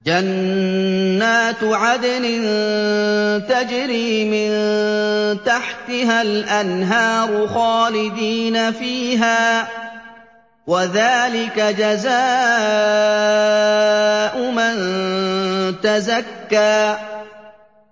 جَنَّاتُ عَدْنٍ تَجْرِي مِن تَحْتِهَا الْأَنْهَارُ خَالِدِينَ فِيهَا ۚ وَذَٰلِكَ جَزَاءُ مَن تَزَكَّىٰ